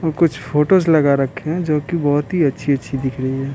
वो कुछ फोटोज लगा रखे हैंजो कि बहुत ही अच्छी-अच्छी दिख रही है।